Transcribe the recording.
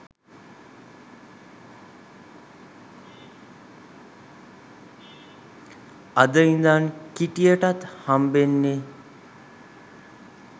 අද ඉදන් කිටියටත් හම්බෙන්නෙ